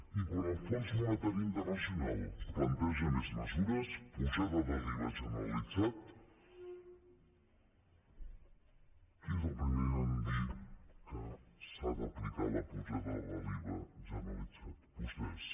i quan el fons monetari internacional planteja més mesures pujada de l’iva generalitzat qui és el primer a dir que s’ha d’aplicar la pujada de l’iva generalitzat vostès